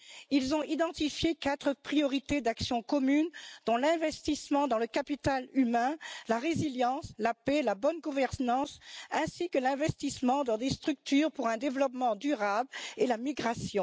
Ils ont identifié quatre priorités d'action commune, dont l'investissement dans le capital humain, la résilience, la paix, la bonne gouvernance ainsi que l'investissement dans des structures pour un développement durable et la migration.